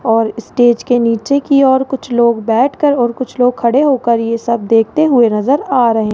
और स्टेज के नीचे कि ओर कुछ लोग बैठकर और कुछ लोग खड़े होकर ये सब देखते हुए नजर आ रहे --